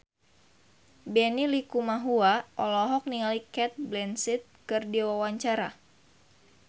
Benny Likumahua olohok ningali Cate Blanchett keur diwawancara